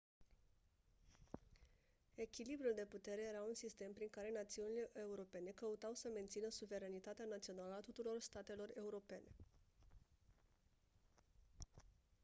echilibrul de putere era un sistem prin care națiunile europene căutau să mențină suveranitatea națională a tuturor statelor europene